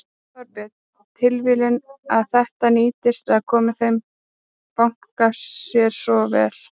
Þorbjörn: Tilviljun að þetta nýtist eða komi þeim banka sér svona vel?